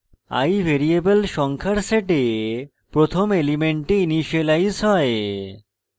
i variable সংখ্যার set প্রথম element initialise হয়